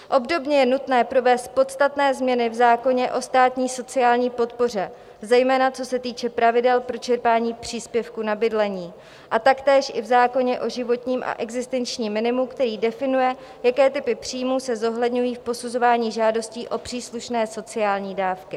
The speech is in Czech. Obdobně je nutné provést podstatné změny v zákoně o státní sociální podpoře, zejména co se týče pravidel pro čerpání příspěvku na bydlení, a taktéž i v zákoně o životním a existenčním minimu, který definuje, jaké typy příjmů se zohledňují v posuzování žádostí o příslušné sociální dávky.